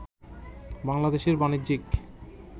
বাংলাদেশের বাণিজ্যিক